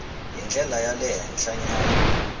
hi ndlela ya le henhlanyana